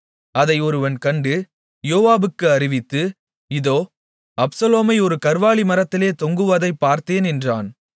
அதை ஒருவன் கண்டு யோவாபுக்கு அறிவித்து இதோ அப்சலோமை ஒரு கர்வாலி மரத்திலே தொங்குவதைப் பார்த்தேன் என்றான்